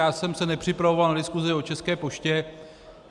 Já jsem se nepřipravoval na diskusi o České poště.